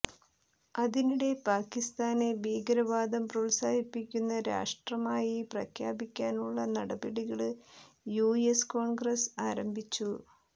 അതിനിടെ പാക്കിസ്ഥാനെ ഭീകരവാദം പ്രോത്സാഹിപ്പിക്കുന്ന രാഷ്ട്രമായി പ്രഖ്യാപിക്കാനുള്ള നടപടികള് യുഎസ് കോണ്ഗ്രസ് ആരംഭിച്ചു